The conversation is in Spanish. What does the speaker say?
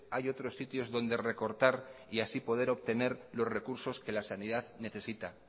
hay otros sitios donde recortar y así poder obtener los recursos que la sanidad necesita